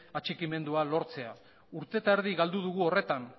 atxikimendua lortzea urte eta erdi galdu dugu horretan